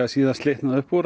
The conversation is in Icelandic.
síðast slitnaði upp úr